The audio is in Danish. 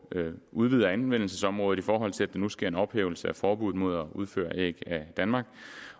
udvider anvendelsesområdet i forhold til at der nu sker en ophævelse af forbuddet mod at udføre æg af danmark